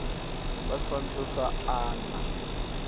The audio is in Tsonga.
va swifaniso swa a na